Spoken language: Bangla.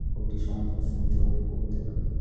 ফুলটি সমর্থ সূর্য্য মুখী ফুল হতে পারে।